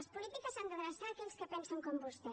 les polítiques s’han d’adreçar a aquells que pensen com vostè